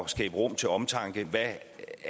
skabe rum til omtanke